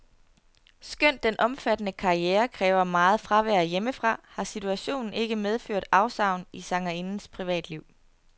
Skønt den omfattende karriere kræver meget fravær hjemmefra, har situationen ikke medført afsavn i sangerindens privatliv.